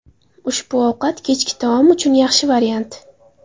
Ushbu ovqat kechki taom uchun yaxshi variant.